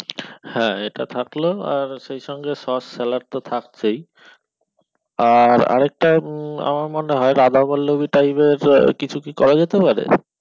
হ্যাঁ এটা থাকলো আর সেই সঙ্গে sauce salad তো থাকছেই আর আর একটা আমার মনে হয় উম রাধা বল্লবী type এর কিছু কি করা যেতে পারে